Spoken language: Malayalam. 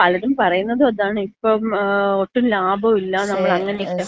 പലരും പറയുന്നതും അതാണ്. ഇപ്പം ഒട്ടും ലാഭം ഇല്ല നമ്മള് അങ്ങനെയൊക്ക.